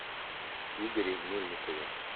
игоре мельникове